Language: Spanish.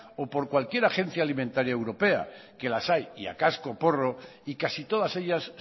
o por cualquier agencia alimentaria europea que las hay y a cascoporro y casi todas ellas